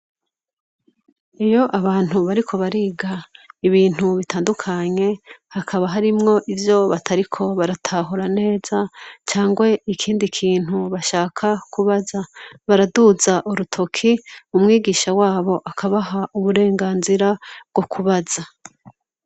Iyo abantu bariko bariga ibintu bitandukanye hakaba harimwo ivyo batariko baratahora neza cangwe ikindi kintu bashaka kubaza baraduza urutoki mu mwigisha wabo akabaha uburenganzira bwo kubaza.